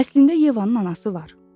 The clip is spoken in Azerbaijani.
Əslində Yevanın anası var.